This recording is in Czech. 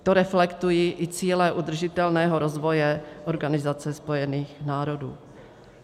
To reflektují i cíle udržitelného rozvoje Organizace spojených národů.